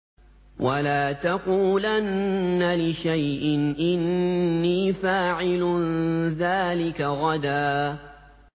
وَلَا تَقُولَنَّ لِشَيْءٍ إِنِّي فَاعِلٌ ذَٰلِكَ غَدًا